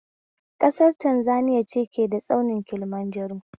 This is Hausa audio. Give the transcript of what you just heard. Kasar Tanzaniya ce ke da tsaunin Kilimanjaro